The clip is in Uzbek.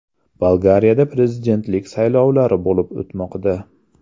Bolgariyada prezidentlik saylovlari bo‘lib o‘tmoqda.